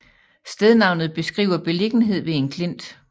Stednavnet beskriver beliggenhed ved en klint